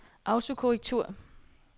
autokorrektur